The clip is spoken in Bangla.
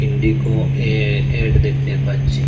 লিঘো এ অ্যাড দেখতে পাচ্ছি।